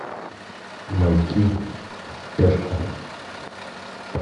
маяки под стяжку